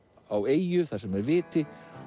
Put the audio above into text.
á eyju þar sem er viti